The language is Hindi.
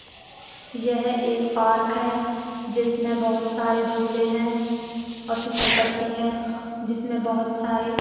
यह एक पार्क है जिसमें बहुत सारे झूले हैं और फिसलपट्टी हैजिसमे बहुत सारे--